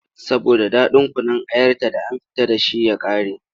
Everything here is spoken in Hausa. Saboda ɗaɗin kunun ayarta da an fita da shi ya ƙare.